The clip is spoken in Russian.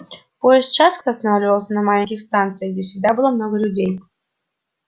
поезд часто останавливался на маленьких станциях где всегда было много людей